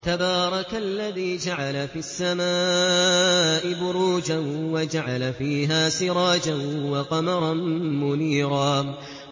تَبَارَكَ الَّذِي جَعَلَ فِي السَّمَاءِ بُرُوجًا وَجَعَلَ فِيهَا سِرَاجًا وَقَمَرًا مُّنِيرًا